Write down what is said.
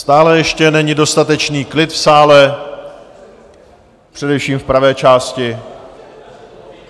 Stále ještě není dostatečný klid v sále, především v pravé části.